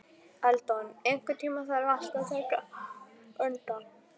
Eldon, einhvern tímann þarf allt að taka enda.